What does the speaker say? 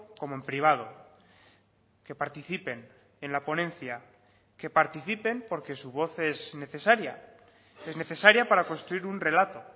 como en privado que participen en la ponencia que participen porque su voz es necesaria es necesaria para construir un relato